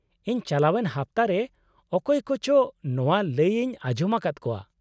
-ᱤᱧ ᱪᱟᱞᱟᱣᱮᱱ ᱦᱟᱯᱛᱟ ᱨᱮ ᱚᱠᱚᱭ ᱠᱚᱪᱚ ᱱᱚᱶᱟ ᱞᱟᱹᱭ ᱤᱧ ᱟᱸᱡᱚᱢ ᱟᱠᱟᱫ ᱠᱚᱣᱟ ᱾